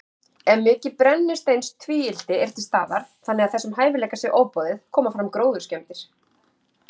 Ef mikið brennisteinstvíildi er til staðar, þannig að þessum hæfileika sé ofboðið, koma fram gróðurskemmdir.